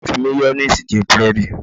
Ìyá mi ń fi máyóníìsì jẹ búrẹ́dì